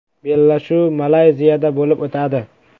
Bellashuv Malayziyada bo‘lib o‘tadi.